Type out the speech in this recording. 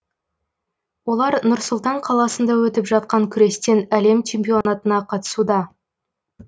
олар нұр сұлтан қаласында өтіп жатқан күрестен әлем чемпионатына қатысуда